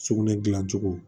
Sugunɛ dilancogo